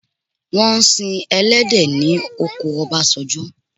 Wọ́n ń si ẹlẹhdẹ̀ ní oko Ọbásanjọ.